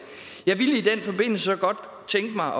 jeg i den forbindelse godt tænke mig